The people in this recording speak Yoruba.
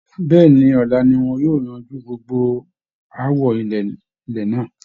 Bẹ́ẹ̀ ni, ọ̀la ni wọn yóò yanju gbogbo aáwọ ilẹ̀ náà